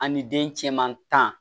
An ni den cɛman tan